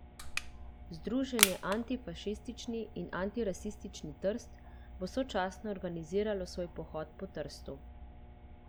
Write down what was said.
Združenje Antifašistični in antirasistični Trst bo sočasno organiziralo svoj pohod po Trstu.